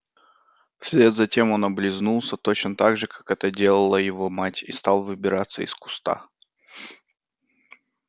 вслед за тем он облизнулся точно так же как это делала его мать и стал выбираться из куста